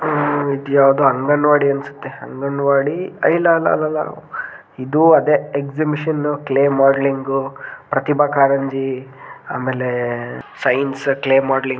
ಉಹ್ ಇದ ಯಾವದೋ ಅಂಗನವಾಡಿ ಅನ್ನಸುತ್ತೇ ಅಂಗನವಾಡಿ ಎ ಇಲ್ಲ ಅಲ್ಲಲ್ ಇದು ಅದೆ exhibition clay modelling Pratibha Karanji ಆಮೇಲೆ ಸೈನ್ಸ್ ಕ್ಲೇ ಮಾಡಲ್ಲಿಂಗ್ --